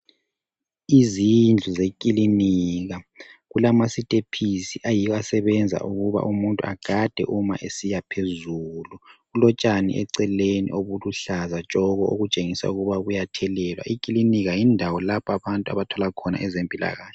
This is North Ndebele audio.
Izindlu zekilinika kulamasitepisi ayiwo asebenza ukuthi umuntu egade uma esiyaphezulu kulotshani eceleni obuluhlaza tshoko okutshengisa ukuba buyathelelwa. Ikilinika yindawo lapho abantu abathola ngezempilakahle.